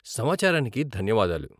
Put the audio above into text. సమాచారానికి ధన్యవాదాలు.